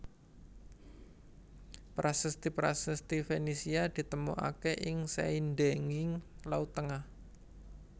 Prasasti prasasti Fenisia ditemokaké ing saindhenging Laut Tengah